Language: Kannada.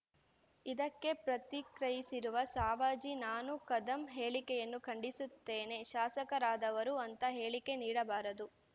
ಇದಕ್ಕೆ ಪ್ರತಿಕ್ರಯಿಸಿರುವ ಸಾವಜಿ ನಾನು ಕದಂ ಹೇಳಿಕೆಯನ್ನು ಖಂಡಿಸುತ್ತೇನೆ ಶಾಸಕರಾದವರು ಅಂಥ ಹೇಳಿಕೆ ನೀಡಬಾರದು